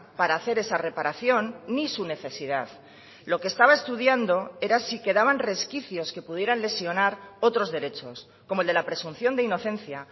para hacer esa reparación ni su necesidad lo que estaba estudiando era si quedaban resquicios que pudieran lesionar otros derechos como el de la presunción de inocencia